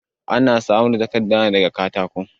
Ana samar da takarda ne da ga katako.